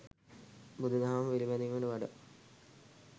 බුදු දහම පිළිපැදීමට වඩා